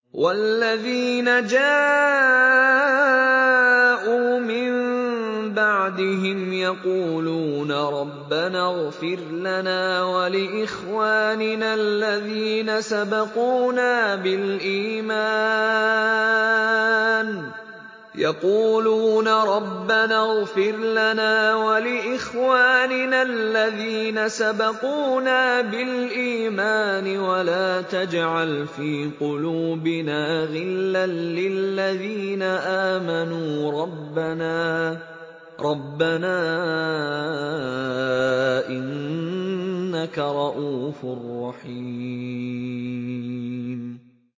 وَالَّذِينَ جَاءُوا مِن بَعْدِهِمْ يَقُولُونَ رَبَّنَا اغْفِرْ لَنَا وَلِإِخْوَانِنَا الَّذِينَ سَبَقُونَا بِالْإِيمَانِ وَلَا تَجْعَلْ فِي قُلُوبِنَا غِلًّا لِّلَّذِينَ آمَنُوا رَبَّنَا إِنَّكَ رَءُوفٌ رَّحِيمٌ